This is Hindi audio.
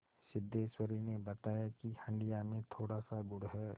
सिद्धेश्वरी ने बताया कि हंडिया में थोड़ासा गुड़ है